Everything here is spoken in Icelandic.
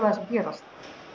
að gerast